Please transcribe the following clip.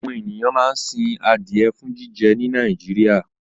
Àwọn ènìyàn máa ń sin adìẹ fún jíjẹ ní Nàìjíríà.